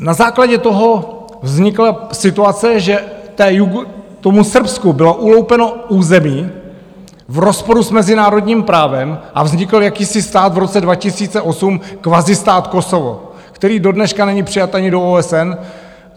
Na základě toho vznikla situace, že tomu Srbsku bylo uloupeno území v rozporu s mezinárodním právem, a vznikl jakýsi stát v roce 2008, kvazi stát Kosovo, který dodneška není přijat ani do OSN.